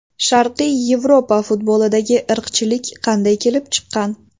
Sharqiy Yevropa futbolidagi irqchilik qanday kelib chiqqan?